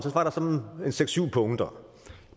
var der sådan seks syv punkter